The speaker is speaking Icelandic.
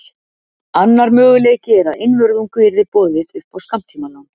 Annar möguleiki er að einvörðungu yrði boðið upp á skammtímalán.